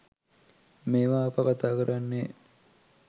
මේවා අප කථා කරන්නේ